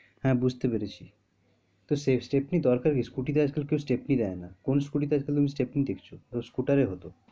হ্যাঁ, বুঝতে পেরেছি সে stepney দরকার কি scooty তে আজ -কাল কেউ stepney দেয় না কোন scooty তে তুমি stepney দেখছো ও তো scooter এ হতো,